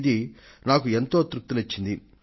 ఇది నాకు ఎంతో తృప్తిని ఇచ్చింది